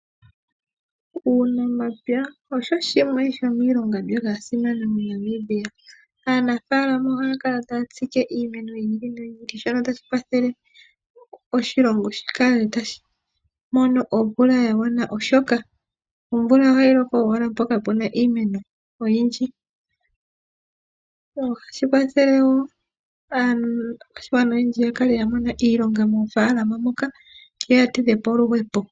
Uunamapya osho shimwe shomiilonga mbyoka ya simana moNamibia. Aanafaalama ohaya kala taya tsike iimeno yi ili noyi ili shono tashi kwathele oshilongo shi kale tashi mono omvula ya gwana. Oshoka omvula ohayi loko owala mpoka puna iimeno oyindji. Ohashi kwathele wo aakwashigwana oyendji ya kale ya mona iilonga moofaalama moka yo yatidhe po oluhepo.